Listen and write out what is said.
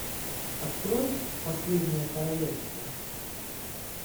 открой последнее королевство